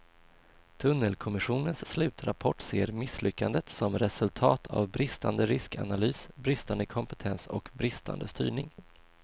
Tunnelkommissionens slutrapport ser misslyckandet som resultat av bristande riskanalys, bristande kompetens och bristande styrning.